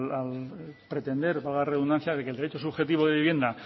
al pretender valga la redundancia de que el derecho subjetivo de vivienda